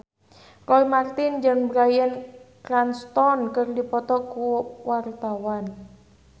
Roy Marten jeung Bryan Cranston keur dipoto ku wartawan